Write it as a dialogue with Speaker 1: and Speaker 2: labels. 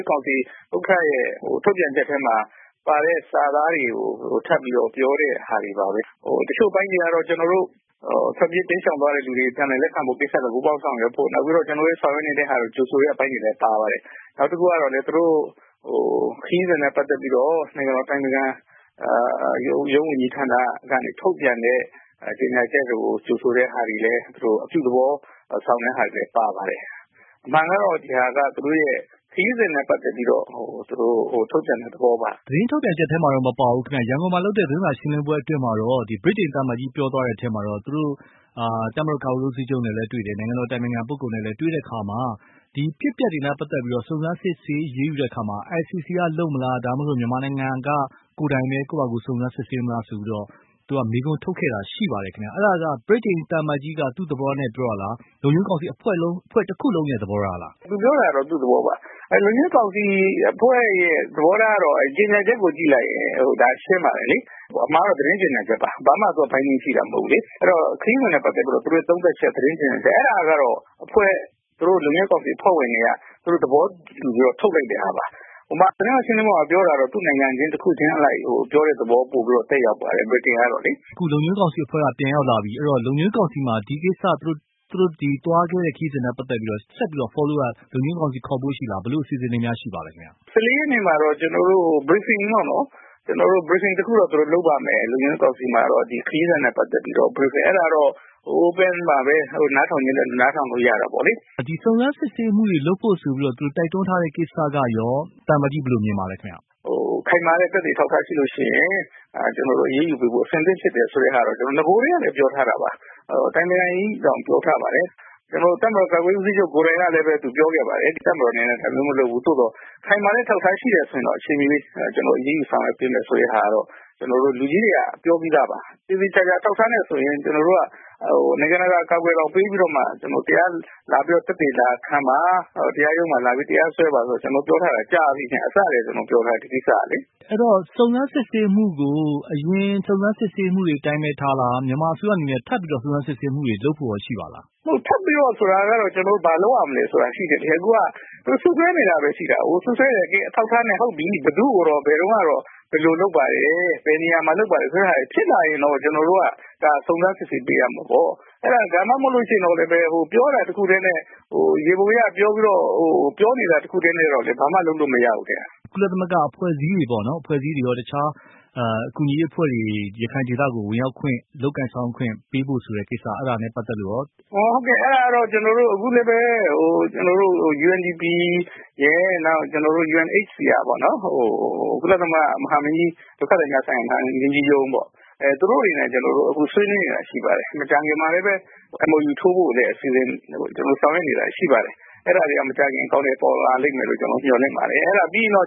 Speaker 1: းကောင်စီရဲ့ ထုတ်ပြန်ချက်ထဲမှာ ပါတဲ့စာသားတွေကို ထပ်ပြီးတော့ ပြောတဲ့ဟာတွေပါပဲ။ တချို့အပိုင်းတွေကတော့ ထွက်ပြေး တိမ်းရှောင် သွားတဲ့သူတွေကို ပြန်လည်လက်ခံဖို့ ပူးပေါင်းဆောင်ရွက်ဖို့ နောက်တခုက ကျနော်တို့ ဆောင်ရွက်နေတာကို ကြိုဆိုတဲ့အပိုင်းတွေလည်း ပါပါတယ်။ နောက်တခုကလည်း သူတို့ ခရီးစဉ်နဲ့ပတ်သက်ပြီးတော့ နိုင်ငံတော်အတိုင်ပင်ခံရုံးဝန်ကြီးဌာနကနေ ထုတ်ပြန်ချက်တွေကိုလည်း ကြိုဆိုတာတွေလည်း သူတို့အပြုသဘောဆောင် တာတွေလည်း ပါပါတယ်။ အမှန်ကတော့ သူတို့ခရီးစဉ်နဲ့ပတ်သက်ပြီးတော့ ထုတ်ပြန်တဲ့သဘောပါ။
Speaker 2: သတင်းထုတ်ပြန်ချက်ထဲမှာတော့မပါဘူး ဒါပေမဲ့ ရန်ကုန်မှာလုပ်တဲ့ သတင်းစာရှင်းလင်းပွဲအတွင်းမှာတော့ ဗြိတိန်သံအမတ်ကြီးပြောသွားတာ အထဲမှာတော့က သူတို့ တပ်မတော် ကာကွယ်ရေးဦးစီးချုပ်နဲ့လည်း တွေ့တယ် နိုင်ငံတော်အတိုင်ပင်ခံပုဂ္ဂိုလ်နဲ့လည်း တွေ့တဲ့အခါမှာ ဒီအဖြစ်အပျက်တွေနဲ့ပတ်သက်ပြီး စုံစမ်းစစ်ဆေး အရေးယူတဲ့အခါမှာ ICC ကလုပ်မလား ဒါမှမဟုတ် မြန်မာနိုင်ငံက ကိုယ်တိုင်ပဲ ကိုယ့်ဘာသာကိုယ် စုံစမ်းစစ်ဆေးမလားဆိုတာကို သူက မေးခွန်းထုတ်ခဲ့ တာရှိပါတယ်ခင်ဗျ။ အဲ့တာက ဗြိတိန်သံအမတ်ကြီးက သူ့သဘောကိုပြောတာလား လုံခြုံရေးကောင်စီတဖွဲ့လုံးရဲ့သဘောထားလား။
Speaker 1: သူပြောတာကတော့ သူ့သဘောထားပါ။ လုံခြုံရေးကောင်စီအဖွဲ့ရဲ့သဘောထားကတော့ ကြေညာချက်ကို ကြည့်လိုက်ရင်ရှင်းလိုက်ပါတယ်လေ။ ဒါကတော့ သတင်းထုတ်ပြန်ကြေညာချက်ပါ။ သူတို့ရဲ့ခရီးစဉ်နဲ့ပတ်သက်ပြီး သုံးသပ်ချက် သတင်းကြေညာချက် အဲ့တာကတော့ သူတို့ရဲ့အဖွဲ့ လုံခြုံရေးကောင်စီအဖွဲ့ဝင်တွေရဲ့သဘောတူညီချက်နဲ့ထုတ်လိုက်တာပါ။ သတင်းစာ ရှင်းလင်းပွဲကတော့ သူ့ရဲ့နိုင်ငံ တခုချင်းအလိုက် ပြောတဲ့သဘော ပိုသက်ရောက်ပါတယ် ဗြိတိန်ကတော့လေ။
Speaker 2: အခုလုံခြုံရေးကောင်စီအဖွဲ့ကပြန်ရောက်လာပြီ အဲ့ဒီ့တော့ လုံခြုံရေးကောင်စီမှာ ဒီကိစ္စ သူတို့သွားခဲ့တဲ့ခရီးစဉ်နဲ့ပတ်သက်ပြီးတော့ ဆက်ပြီးတော့ နောက်ဆက်တွဲ လုံခြုံရေးကောင်စီခေါ်ဖို့ရှိနိုင်လား ဘယ်လိုအစီအစဉ်တွေ ရှိပါသလဲ။
Speaker 1: ၁၄ရက်နေ့မှာတော့ ခရီးစဉ်နဲ့ပတ်သက်ပြီး Briefing ခေါ်ဖို့ရှိတယ် အဲ့တာကတော့ Open ပါပဲ နားထောင်ချင်တဲ့သူ နားထောင်လို့ရတယ်။
Speaker 2: ဒီစုံစမ်းစစ်ဆေးမှုတွေ လုပ်ဖို့ဆိုပြီး တိုက်တွန်းထားတဲ့ကိစ္စကရော သံအမတ်ကြီး ဘယ်လိုမြင်ပါသလဲခင်ဗျ။
Speaker 1: ခိုင်မာတဲ့သက်သေ အထောက်အထားရှိလို့ရှိရင် ကျနော်တို့ အရေးယူပေးဖို့ အဆင်သင့်ဖြစ်တယ်ဆိုတဲ့ဟာကို ကျနော်တို့ နဂိုကတည်းကလည်း ပြောထားတာပါ။ အတိုင်ပင်ခံလည်းပြောထားပါတယ်။ တပ်မတော်ကာကွယ်ရေးဦးစီးချုပ်ကိုယ်တိုင်ကလည်း ပြောခဲ့ပါတယ်။ တပ်မတော်က ဒါမျိုးမလုပ်ဘူး သို့သော် ခိုင်မာတဲ့အထောက်အထား ရှိတယ်ဆိုရင်တော့ ကျနော်တို့ အချိန်မရွေး အရေးယူဆောင်ရွက်ပေးမယ် ဆိုတာကတော့ လူကြီးတွေက ပြောပြီးသားပါ။ သေသေချာချာ အထောက်အထားနဲ့ဆိုရင် ကျနော်တို့က နိုင်ငံတကာ အကာအကွယ် ကိုတောင် ယူပြီးတော့မှ တရားရုံးမှာ လာပြီး တရားစွဲပါ သက်သေလာခံပါလို့ ကျနော်တို့ပြောထားတာ ကြာပြီခင်ဗျ။ အစကတည်းက ကျနော်တို့ပြောထားတာ။ ဒီကိစ္စကလေ။
Speaker 2: အဲ့တော့ စုံစမ်းစစ်ဆေးမှုကို အရင်စုံစမ်းစစ်ဆေးမှုတွေအတိုင်းပဲ ထားလား မြန်မာအစိုးရအနေနဲ့ ထပ်ပြီးတော့ စုံစမ်းစစ်ဆေးမှုတွေ လုပ်ဖို့ရော ရှိပါသလား။
Speaker 1: မဟုတ်ဘူးလေ ထပ်ပြီးတော့ဆိုတာက ဘာလုပ်ရမလဲဆိုတာက ရှိတယ်လေ အခုက စွပ်စွဲတယ်ဆိုတာပဲရှိတာကို အခုက စွပ်စွဲတယ် ကဲ ဟုတ်ပြီ အထောက်အထားနဲ့ ဘယ်သူ့ကိုတော့ ဘယ်တုန်းက ဘယ်လိုလုပ်ပါတယ်။ ဘယ်နေရာမှာ လုပ်ပါတယ် ဖြစ်လာရင်တော့ ကျနော်တို့က စုံစမ်းစစ်ဆေးပေးရမှာပေါ့။ ဒါမှမဟုတ်ရင်လည်းပဲ ပြောထားတာတခုတည်းနဲ့ပဲ ယေဘူယျပြောနေတာတခုတည်းနဲ့တော့ ဘာမှ လုပ်လို့မရဘူးခင်ဗျ။
Speaker 2: ကုလသမဂ္ဂအဖွဲ့အစည်းတွေရော တခြားအဖွဲ့အစည်းတွေရော ရခိုင်ဒေသကို ဝင်ရောက်ခွင့် လုပ်ကိုင်ဆောင်ရွက်ခွင့် ပေးဖို့ အဲ့တာနဲ့ပတ်သက်လို့ရော
Speaker 1: ဟုတ်ကဲ့ အခုလည်းပဲ ကျနော်တို့ UNDP ရယ် UNHCR ကုလသမဂ္ဂဒုက္ခသည်များဆိုင်ရာ မဟာမင်းကြီးရုံးပေါ့ သူတို့တွေနဲ့ ဆွေးနွေးနေတာတွေရှိပါတယ်။ မကြာခင်မှာလည်း MOU ထိုးဖို့ ဆောင်ရွက်နေတာတွေရှိပါတယ်။ အဲ့တာတွေကတော့ မကြာခင် အကောင်အထည်ဖော်လိမ့်မယ်လို့ ကျနော်တို့ မျှော်လင့်ပါတယ်။ အဲ့တာပြီးရင်တော့